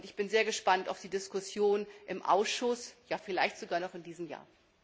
Ich bin sehr gespannt auf die Diskussion im Ausschuss, vielleicht sogar noch in diesem Jahr.